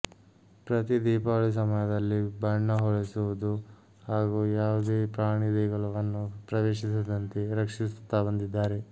ಪ್ರತಿ ದೀಪಾವಳಿ ಸಮಯದಲ್ಲಿ ಬಣ್ಣ ಹೊಡೆಸುವುದು ಹಾಗೂ ಯಾವುದೇ ಪ್ರಾಣಿಗಳು ದೇಗುಲವನ್ನು ಪ್ರವೇಶಿಸದಂತೆ ರಕ್ಷಿಸುತ್ತಾ ಬಂದಿದ್ದಾರೆ